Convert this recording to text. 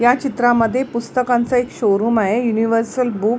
या चित्रामध्ये पुस्तकांच एक शोरूम आहे युनिव्हर्सल बुक --